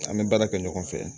An bɛ baara kɛ ɲɔgɔn fɛ